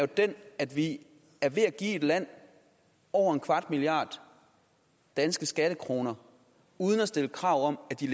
den at vi er ved at give et land over en kvart milliard danske skattekroner uden at stille krav om at de